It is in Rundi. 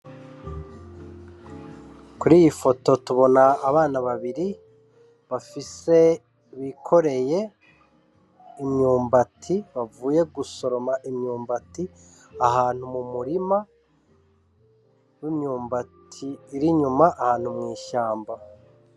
Kuri iyi foto tubona abana babiri bafise bikoreye imyumbati bavuye gusoroma imyumbati ahantu mu murima w'imyumbati irinyuma ahantu mw'ishamba.